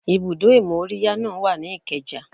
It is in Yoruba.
Ibùdó ìmóríyá náà wà ní Ikeja